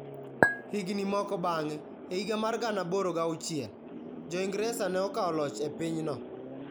Higini moko bang'e, e higa mar 1806, Jo-Ingresa ne okawo loch e pinyno.